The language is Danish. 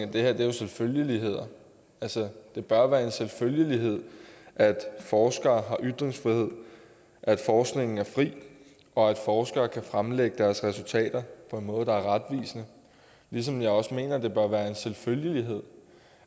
det her er jo selvfølgeligheder det bør være en selvfølgelighed at forskere har ytringsfrihed at forskningen er fri og at forskere kan fremlægge deres resultater på en måde der er retvisende ligesom jeg også mener at det bør være en selvfølgelighed